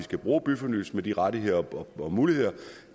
skal bruge byfornyelsesloven rettigheder og muligheder